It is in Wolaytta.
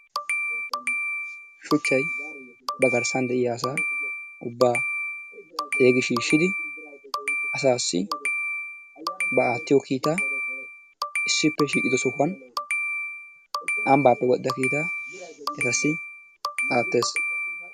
Shuchchayi ba garssan de'iya asaa ubbaa xeegi shiishshidi asaassi ba aattiyo kiitaa issippe shiiqido sohuwan ambbaappe wodhdhida kiitaa etassi aattes.